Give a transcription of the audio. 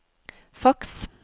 faks